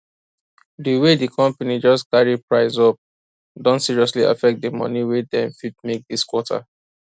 di way di company just carry price up don seriously affect di money wey dem fit make this quarter